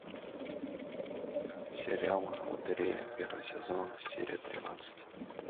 сериал лотерея первый сезон серия тринадцать